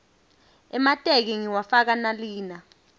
emateki ngiwafaka nalina